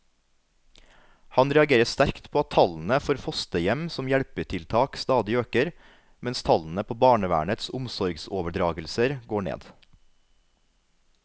Han reagerer sterkt på at tallene for fosterhjem som hjelpetiltak stadig øker, mens tallene på barnevernets omsorgsoverdragelser går ned.